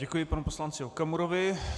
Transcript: Děkuji panu poslanci Okamurovi.